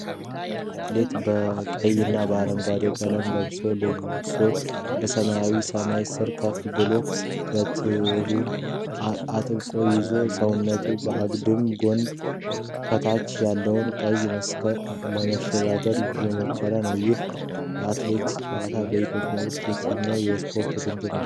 አትሌት በቀይና በአረንጓዴ ቀለም ልብሶች ለብሶ በሰማያዊ ሰማይ ስር ከፍ ብሏል። በትሩን አጥብቆ ይዞ፣ ሰውነቱን በአግድም አድርጎ፣ ከታች ያለውን ቀይ መሰናክል ለመሻገር እየሞከረ ነው። ይህ አትሌቲክስ ጨዋታ በኢትዮጵያ ውስጥ የትኛው የስፖርት ውድድር ክፍል ነው?